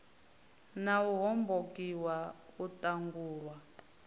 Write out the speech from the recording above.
na u hombokiwa u ṱangulwa